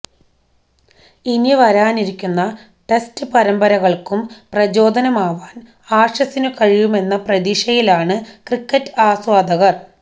ഇനി വരാനിരിക്കുന്ന ടെസ്റ്റ് പരമ്പരകള്ക്കും പ്രചോദനമാവാന് ആഷസിനു കഴിയുമെന്ന പ്രതീക്ഷയിലാണ് ക്രിക്കറ്റ് ആസ്വാദകര്